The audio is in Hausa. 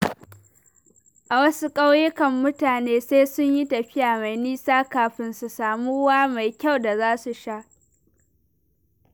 A wasu ƙauyukan, mutane sai sun yi tafiya mai nisa kafin su samu ruwa mai kyau da za su sha.